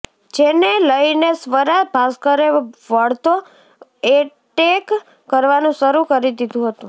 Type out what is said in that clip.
જેને લઇને સ્વરા ભાસ્કરે વળતો એટેક કરવાનું શરૂ કરી દીધુ હતુ